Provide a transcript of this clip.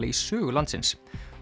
í sögu landsins